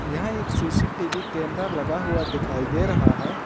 यहां एक CCTV camera लगा हुआ दिखाई दे रहा है।